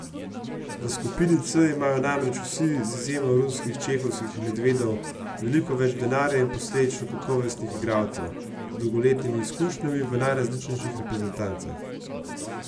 V skupini C imajo namreč vsi, z izjemo ruskih Čehovskih medvedov, veliko več denarja in posledično kakovostnih igralcev, z dolgoletnimi izkušnjami v najrazličnejših reprezentancah.